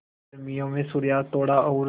गर्मियों में सूर्यास्त थोड़ा और